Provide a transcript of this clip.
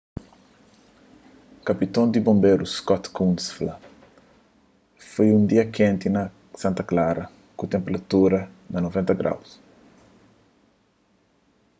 kapiton di bonberu scott kouns fla: foi un dia kenti na santa clara ku tenperatura na 90º